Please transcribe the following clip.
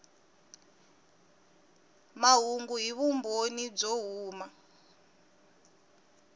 mahungu hi vumbhoni byo huma